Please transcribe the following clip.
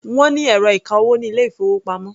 Wọ́n ní ẹ̀rọ ìka-owó ní ilé-ìfowópamọ́.